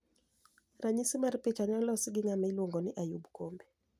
Raniyisi mar picha ni e olosi gi nigama iluonigo nii Ayub kombe.